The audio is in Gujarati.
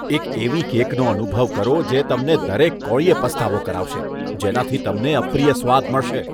એક એવી કેકનો અનુભવ કરો જે તમને દરેક કોળીયે પસ્તાવો કરાવશે, જેનાથી તમને અપ્રિય સ્વાદ મળશે.